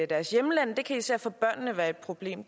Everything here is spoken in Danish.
deres hjemland det kan især for børnene være et problem